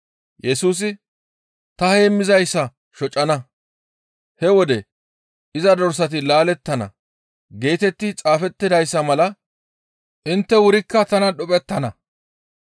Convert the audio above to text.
Yesusi, « ‹Ta heemmizayssa shocana; he wode iza dorsati laalettana› geetetti xaafettidayssa mala intte wurikka tanan dhuphettana.